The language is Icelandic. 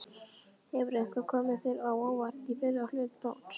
Hefur eitthvað komið þér á óvart í fyrri hluta móts?